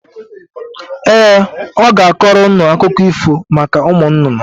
Ee, ọ ga-akọrọ ụnụ akụkọ ífò maka ụmụnnụnnụ.